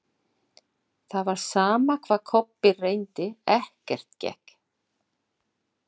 Það var sama hvað Kobbi reyndi, ekkert gekk.